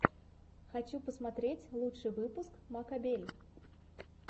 хочу посмотреть лучший выпуск маккобель